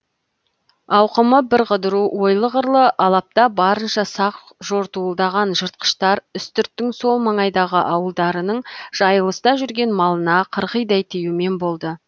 ауқымы бірқыдыру ойлы қырлы алапта барынша сақ жортуылдаған жыртқыштар үстірттің сол маңайдағы ауылдарының жайылыста жүрген малына қырғидай тиюмен болды